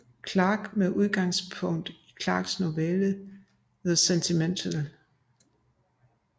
Clarke med udgangspunkt i Clarkes novelle The Sentinel